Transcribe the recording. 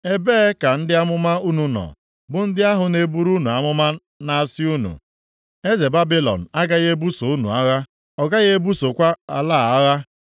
Ebee ka ndị amụma unu nọ, bụ ndị ahụ na-eburu unu amụma na-asị unu, ‘Eze Babilọn agaghị ebuso unu agha, ọ gaghị ebusokwa ala a agha?’